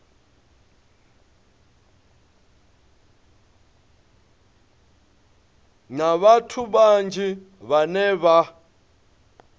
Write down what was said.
na vhathu vhanzhi vhane vha